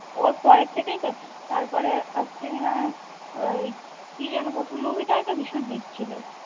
ওর পরের থেকেই তো তার পরে আসছে কিনা ওই কি যেন প্রথম movie টা তো ভীষণ hit ছিল